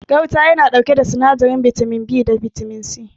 Gauta ya na ɗauke da sinadarin bitamin B da C